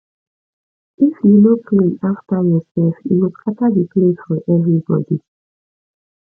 if you no clean after yourself e go scatter the place for everybody